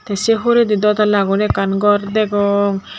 tey sey huredi dw tala guri ekkan gor degong.